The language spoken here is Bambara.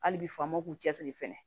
Hali bi faamaw k'u cɛsiri fɛnɛ